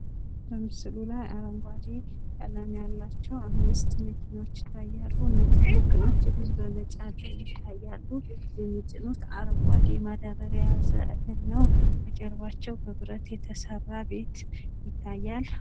በምስሉ ላይ አረጓዴ ቀለም ያላቸው አምስት መኪኖች ይታያሉ። እነዚህ መኪኖች እህል በመጫን ላይ ይታያሉ። የሚጭኑት አረጓዴ ማዳበርያ የያዘ እህል ነው። በጀርባቸው በብረት የተሰራ ቤት ይታያል።